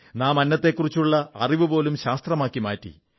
നാം അന്നത്തെക്കുറിച്ചുള്ള അറിവുപോലും ശാസ്ത്രമാക്കി മാറ്റി